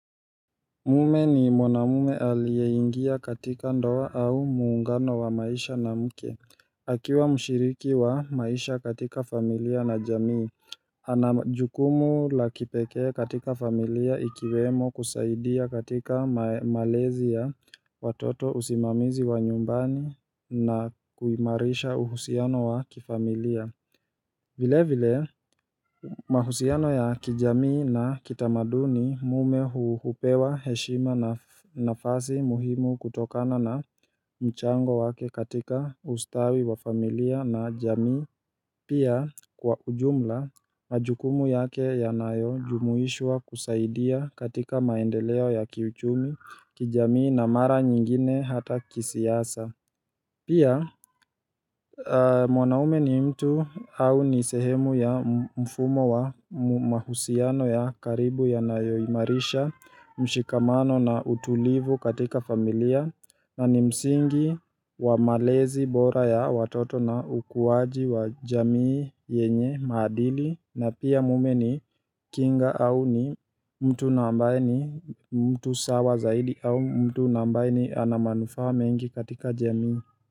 Mume ni mwanamme aliyeingia katika ndoa au muungano wa maisha na mke akiwa mshiriki wa maisha katika familia na jamii ana jukumu la kipekee katika familia ikiwemo kusaidia katika malezi ya watoto usimamizi wa nyumbani na kuimarisha uhusiano wa kifamilia vile vile mahusiano ya kijamii na kitamaduni mme hupewa heshima nafasi muhimu kutokana na mchango wake katika ustawi wa familia na jamii Pia kwa ujumla majukumu yake yanayojumuishwa kusaidia katika maendeleo ya kiuchumi kijamii na mara nyingine hata kisiasa Pia mwanamme ni mtu au ni sehemu ya mfumo wa mahusiano ya karibu yanayoimarisha mshikamano na utulivu katika familia na ni msingi wa malezi bora ya watoto na ukuaji wa jamii yenye maadili na pia mme ni kinga au ni mtu ambaye ni mtu sawa zaidi au mtu ambaye ni ana manufaa mengi katika jamii.